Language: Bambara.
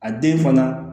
A den fana